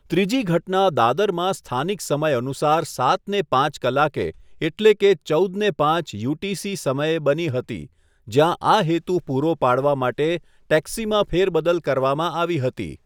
ત્રીજી ઘટના દાદરમાં સ્થાનિક સમય અનુસાર સાતને પાંચ કલાકે એટલે કે ચૌદને પાંચ યુટીસી સમયે બની હતી, જ્યાં આ હેતુ પૂરો પાડવા માટે ટેક્સીમાં ફેરબદલ કરવામાં આવી હતી.